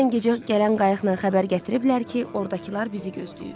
Dünən gecə gələn qayıqla xəbər gətiriblər ki, ordakılar bizi gözləyir.